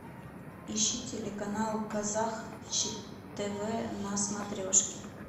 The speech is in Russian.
ищи телеканал казах тв на смотрешке